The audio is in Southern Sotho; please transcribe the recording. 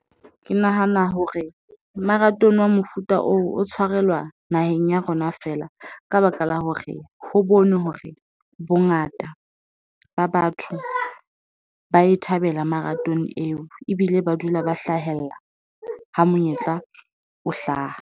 Ke nahana hore marathon wa mofuta oo, o tshwarelwa naheng ya rona fela ka baka la hore ho bonwe hore bongata ba batho ba e thabela marathon eo, ebile ba dula ba hlahella ho monyetla o hlaha.